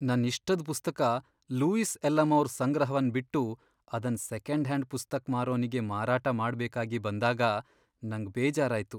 ನನ್ ಇಷ್ಟದ್ ಪುಸ್ತಕ ಲೂಯಿಸ್ ಎಲ್'ಅಮೌರ್ ಸಂಗ್ರಹವನ್ ಬಿಟ್ಟು ಅದನ್ ಸೆಕೆಂಡ್ ಹ್ಯಾಂಡ್ ಪುಸ್ತಕ್ ಮಾರೋನಿಗೆ ಮಾರಾಟ ಮಾಡ್ಬೇಕಾಗಿ ಬಂದಾಗ ನಂಗ್ ಬೇಜಾರಾಯ್ತು.